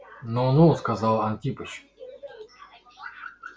ну ну сказал антипыч